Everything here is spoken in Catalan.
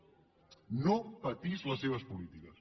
no patís les seves polítiques